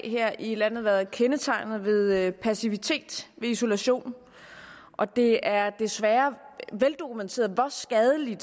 her i landet været kendetegnet af passivitet og isolation og det er desværre veldokumenteret hvor skadelige